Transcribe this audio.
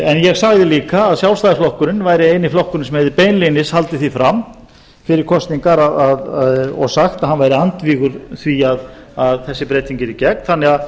en ég sagði líka að sjálfstæðisflokkurinn væri eini flokkurinn sem beinlínis hefði haldið því fram fyrir kosningar og sagt að hann væri andvígur því að þessi breyting yrði gerð þannig að